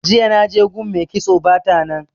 Jiya naje gun mai kitso bata nan.